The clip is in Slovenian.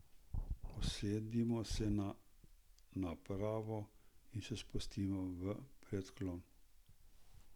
Usedemo se na napravo in se spustimo v predklon.